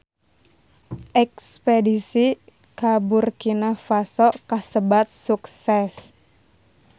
Espedisi ka Burkina Faso kasebat sukses